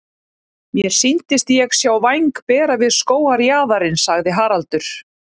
Mér sýndist ég sjá væng bera við skógarjaðarinn sagði Haraldur.